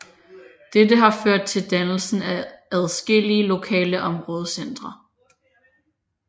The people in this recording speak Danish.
Dette har ført til dannelsen af adskillige lokale områdecentre